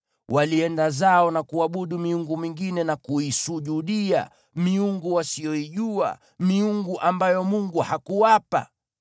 Walienda zao na kuabudu miungu mingine na kuisujudia, miungu wasioijua, miungu ambayo Mungu hakuwapa.